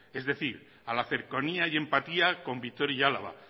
es decir a la cercanía y la empatía con vitoria y álava